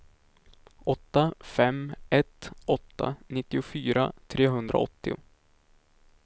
åtta fem ett åtta nittiofyra trehundraåttio